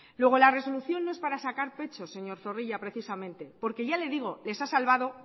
luego la resolución no es para sacar pecho señor zorrilla precisamente porque ya le digo les ha salvado